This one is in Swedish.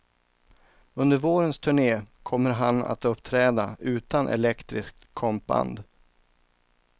Under vårens turne kommer han att uppträda utan elektriskt kompband.